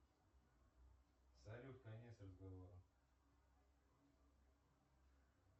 салют конец разговора